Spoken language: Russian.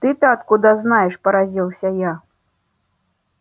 ты-то откуда знаешь поразился я